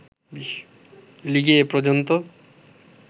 লিগে এ পর্যন্ত